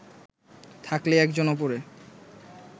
থাকলেই একজন ওপরে